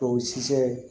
O si fɛ